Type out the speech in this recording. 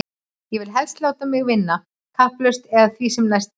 Og vill helst láta mig vinna kauplaust eða því sem næst, bætti